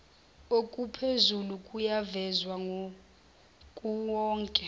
okuphezulu kuyavezwa kuwowonke